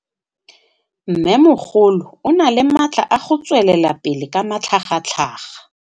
Mmêmogolo o na le matla a go tswelela pele ka matlhagatlhaga.